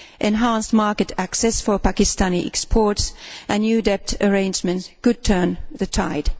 Enhanced market access for Pakistani exports and new debt arrangements could turn the tide.